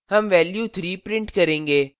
हम value 3 print करेंगे